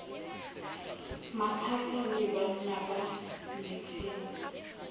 matha le banna ba nyetseng